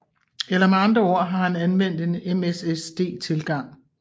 Eller med andre ord han anvendte en MSSD tilgang